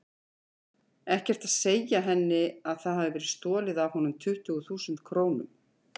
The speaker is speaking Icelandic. Ekkert að segja henni að það hafi verið stolið af honum tuttugu þúsund krónum.